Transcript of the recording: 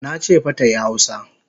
Nache fa tayi hausa!